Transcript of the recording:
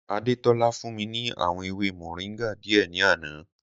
Adétọ́lá fún mi ní àwọn ewé moringa díẹ̀ ní àná